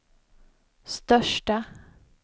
största